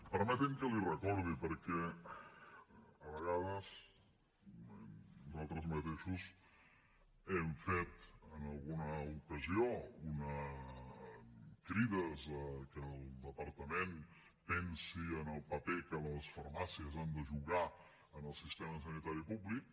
permeti’m que l’hi recordi perquè a vegades nosaltres mateixos hem fet en alguna ocasió crides a que el departament pensi en el paper que les farmàcies han de jugar en el sistema sanitari públic